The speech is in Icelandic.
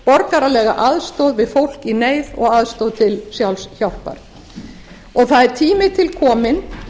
borgaralega aðstoð við fólk í neyð og aðstoð til sjálfshjálpar það er tími til kominn